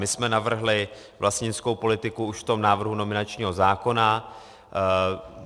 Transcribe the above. My jsme navrhli vlastnickou politiku už v tom návrhu nominačního zákona.